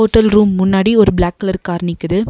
Hotel room முன்னாடி ஒரு black colour நிக்கிது.